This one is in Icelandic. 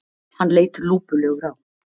Hann leit lúpulegur á